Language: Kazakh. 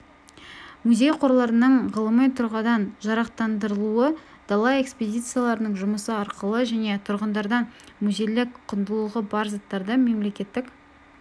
музей қорларының ғылыми тұрғыдан жарақтандырылуы дала экспедицияларының жұмысы арқылы және тұрғындардан музейлік құндылығы бар заттарды мемлекеттік